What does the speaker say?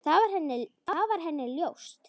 Það var henni ljóst.